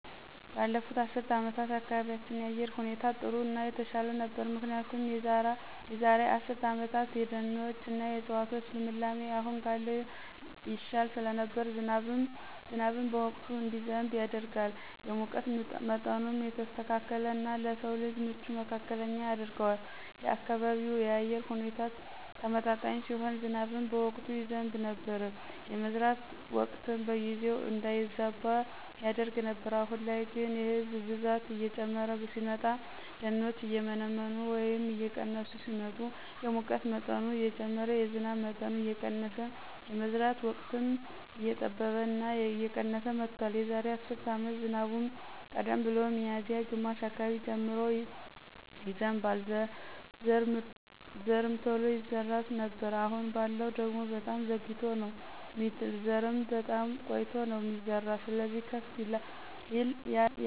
ባለፉት አስርት አመታት የአካባቢያችን የአየር ሁኔታ ጥሩ እና የተሻለ ነበር ምክንያቱ የዛራ አስርት አመታት የደኖች እና የዕፅዋቶች ልምላሜ አሁን ካለው ይሻል ስለነበር ዝናብን በወቅቱ እንዲዘንብ ያደርጋል፣ የሙቀት ምጠኑም የተስተካከለ እና ለስው ልጅ ምቹ መካከለኛ ያደርገዋል፣ የአካባቢው የአየር ሁኔታ ተመጣጣኝ ሲሆን ዝናብም በወቅቱ ይዘብ ነበር፣ የመዝራት ወቅትም በጊዜው እንዳይዛባ ያደርግ ነበር። አሁን ላይ ግን የህዝብ ብዛት እየጨመረ ሲመጣ፣ ደኖችም እየመነመኑ ወይም እየቀነሱ ሲመጡ የሙቀት መጠኑ እየጨመረ የዝናብ መጠኑ እየቀነስ የመዝራት ወቅትም እየጠበበ እና የቀነስ መጥቷል። የዛሬ አስር አመት ዝናቡም ቀደም ብሎ ሚዚያ ግማሽ አካባቢ ጀምሮ ይዘንባል ዘርምቶሎ ይዘራ ነበር አሁን ባለው ደግሞ በጣም ዘግይቶ ነው ሚጥል ዘርም በጣም ቆይቶ ነው ሚዘራ ስለዚህ ከፍ ይል ለውጥ አለ።